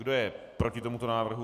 Kdo je proti tomuto návrhu?